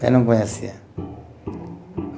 Ela não conhecia. Uhum.